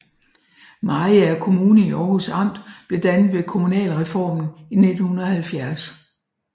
Mariager Kommune i Århus Amt blev dannet ved kommunalreformen i 1970